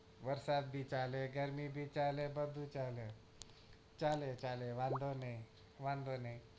વરસાદ બી ચાલે ગરમી બી ચાલે બધું ચાલે ચાલે ચાલે વાંધો ની વાંધો નઈ